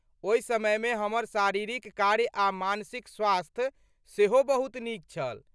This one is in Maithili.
ओहि समयमे हमर शारीरिक कार्य आ मानसिक स्वास्थ्य सेहो बहुत नीक छल।